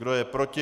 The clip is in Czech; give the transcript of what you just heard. Kdo je proti?